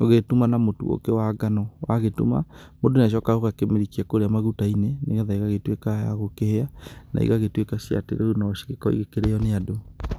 ũgĩgĩtũma na mũtũ ũngĩ wa ngano watũma mũndũ nĩ acoka aka mĩrikia kũrĩa magũtainĩ nĩ getha ĩgagĩtwĩka ya kũhĩa na ĩgagĩtwĩka atĩ rĩũ no ĩkorwo ĩgĩkĩrĩo nĩ andũ.